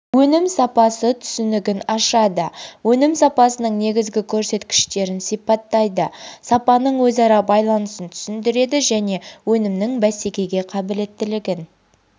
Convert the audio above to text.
өнім сапасы түсінігін ашады өнім сапасының негізгі көрсеткіштерін сипаттайды сапаның өзара байланысын түсіндіреді және өнімнің бәсекеге қабілетілігін